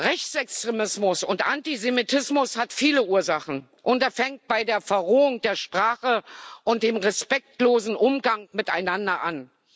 Rechtsextremismus und Antisemitismus haben viele Ursachen, und das fängt bei der Verrohung der Sprache und dem respektlosen Umgang miteinander an.